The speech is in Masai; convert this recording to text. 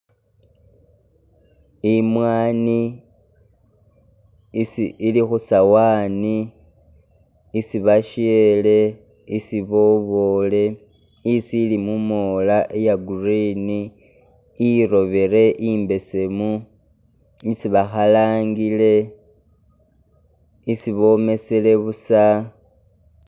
I'mwani isi ili khu sawani isi bashele isi bobule, isi mumola iya'green irobile imbesemu, isi bakhalangile, isi bomesele buusa.